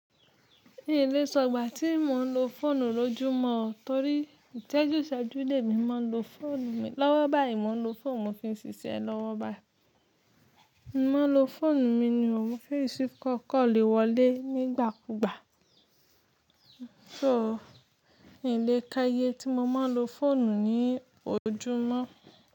N ìlé sọ̀gbà tí mo ń lo fóònù lójumó torí ìsẹjúṣẹjú lèmi máa ń lo fóònù mi, lọ́wọ́ bá yíì mó ń lo fóònù mi fi ń ṣiṣẹ́ lọ́wọ́ bái. Mo ń lo fóònù mi ni ò, mo n fi receive call, call lè wọlé nígbàkúgbà. So, n lé ká iye tí mo máa ń lo fóònù ni ojúmọ́